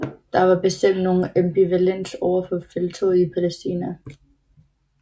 Der var bestemt nogen ambivalens overfor felttoget i Palæstina